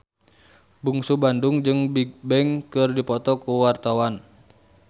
Bungsu Bandung jeung Bigbang keur dipoto ku wartawan